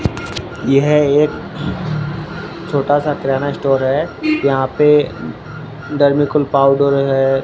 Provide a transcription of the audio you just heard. यह एक छोटा सा किराना स्टोर है यहां पे डर्मी कूल पाउडर है।